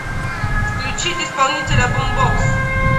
включить исполнителя бумбокс